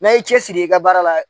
N'a ye cɛsiri i ka baara la.